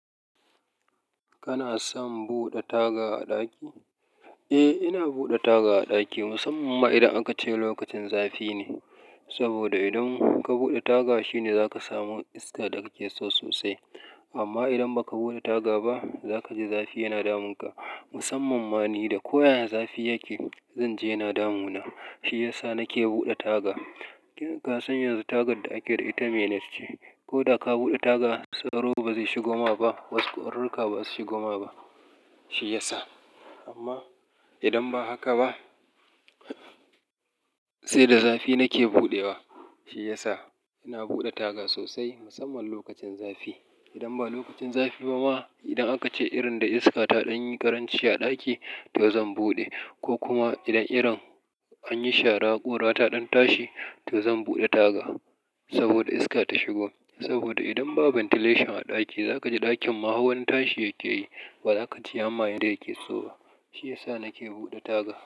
Kana son buɗe taga a ɗaki? Eh, ina buɗe taga a ɗaki musamman ma idan aka ce lokacin zafi ne. Saboda idan ka buɗe taga shine za ka samu iska da kake so sosai. Amma idan ba ka buɗe taga ba, za ka ji zafi yana damunka. Musamman ma ni, da ko ya ya zafi yake, zan je yana damu na. Shi ya sa nake buɗe taga. Ki ka san yanzu tagar da ake da ita mainet ce. Ko da ka buɗe taga, sauro ba zai shigo ma ba, wasu ƙwaruruka ba za su shigo ma ba, shi ya sa. Amma idan ba haka ba, sai da zafi nake buɗe wa, shi ya sa ina buɗe taga sosai musamman lokacin zafi. Idan ba lokacin zafi ba ma, idan aka ce irin da iska ta ɗan yi ƙaranci a ɗaki, to zan buɗe. Ko kuma idan irin an yi shara ƙura ta ɗan tashi, to zan buɗe taga. Saboda iska ta shigo. Saboda idan ba ventilation a ɗaki, za ka ji ɗakin ma hauwan tashi yake yi, ba za ka ji amma yanda yake so ba. Shi ya sa nake buɗe taga.